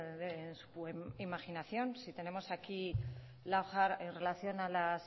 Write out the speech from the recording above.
de en su imaginación si tenemos aquí la relación a las